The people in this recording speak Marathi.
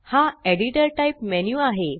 हा एडिटर टाइप मेन्यु आहे